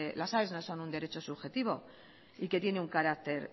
las aes no son un derecho subjetivo y que tiene un carácter